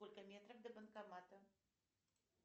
сколько метров до банкомата